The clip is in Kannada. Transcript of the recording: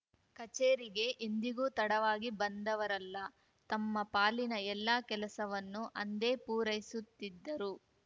ಕಚೇರಿಗೆ ಎಂದಿಗೂ ತಡವಾಗಿ ಬಂದವರಲ್ಲ ತಮ್ಮ ಪಾಲಿನ ಎಲ್ಲಾ ಕೆಲಸವನ್ನು ಅಂದೇ ಪೂರೈಸುತ್ತಿದ್ದರು